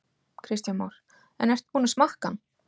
Kristján Már: En ertu búinn að smakka hann?